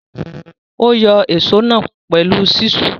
Ó yọ ìsó náà pẹ̀lú ṣísù.